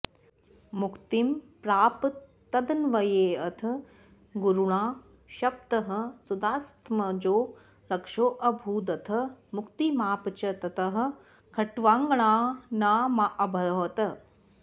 मुक्तिं प्राप तदन्वयेऽथ गुरुणा शप्तः सुदासात्मजो रक्षोऽभूदथ मुक्तिमाप च ततः खट्वाङ्गनामाऽभवत्